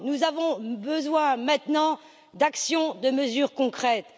Nous avons besoin maintenant d'actions et de mesures concrètes.